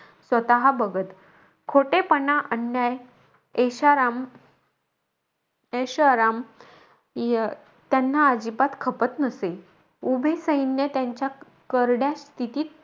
स्वतः बघत. खोटेपणा, अन्याय ऐशाराम ऐषोआराम अं त्यांना अजिबात खपत नसे. उभे सैन्य त्यांच्या करड्या स्तिथीत,